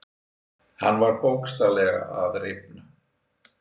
Hann var bókstaflega að rifna.